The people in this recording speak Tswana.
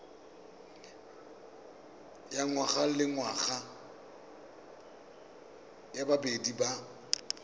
ya ngwagalengwaga ya bobedi ya